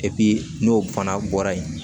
n'o fana bɔra yen